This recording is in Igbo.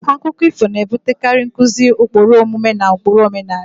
Akụkọ ifo na-ebutekarị nkuzi ụkpụrụ omume na ụkpụrụ omenala.